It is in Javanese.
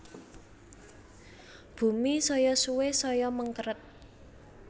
Bumi saya suwe saya mengkeret